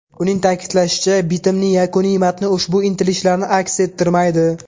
Uning ta’kidlashicha, bitimning yakuniy matni ushbu intilishlarni aks ettirmaydi.